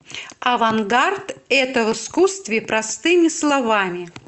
авангард это в искусстве простыми словами